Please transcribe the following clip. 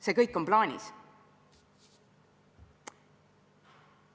See kõik on plaanis.